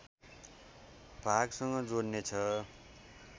भागसँग जोड्ने छ